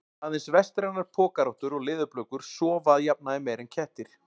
Aðeins vestrænar pokarottur og leðurblökur sofa að jafnaði meira en kettir.